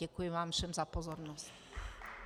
Děkuji vám všem za pozornost.